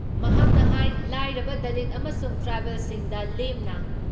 ꯃꯍꯥꯛꯅ ꯍꯥꯏ ꯂꯥꯏꯔꯕ, ꯗꯂꯤꯠ ꯑꯃꯁꯨꯡ ꯇ꯭ꯔꯥꯏꯕꯦꯜꯁꯤꯡꯗ ꯂꯦꯝꯅ